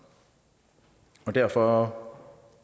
og derfor